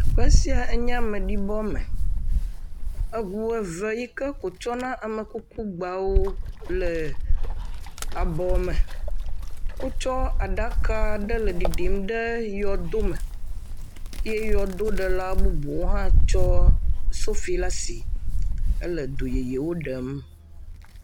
Teƒe sia enye ameɖibɔ me, eŋu eve yike ko tsɔna amekuku gbawo le abɔ me, wotsɔ aɖaka aɖe le ɖiɖim ɖe yɔdo me eye yɔdoɖela bubuwo hã tsɔ sofi le asi hele yɔdo ɖem.